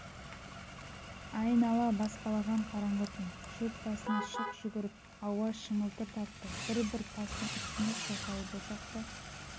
айнала баспалаған қараңғы түн шөп басына шық жүгіріп ауа шыңылтыр тартты бір-бір тастың үстінде шоқайып ошақты